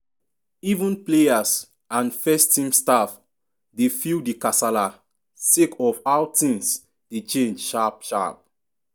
even players and first-team staff dey feel di kasala sake of how tins dey change sharp -sharp.